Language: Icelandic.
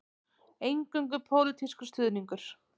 Eingöngu pólitískur stuðningur